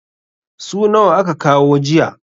su nawa aka kawo jiya?